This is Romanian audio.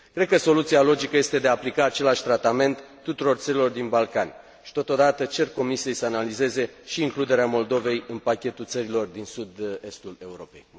Cred că soluția logică este de a aplica același tratament tuturor țărilor din Balcani și, totodată, cer Comisiei să analizeze și includerea Moldovei în pachetul țărilor din sud estul Europei.